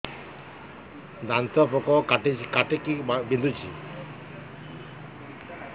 ଦାନ୍ତ ପୋକ କାଟିକି ବିନ୍ଧୁଛି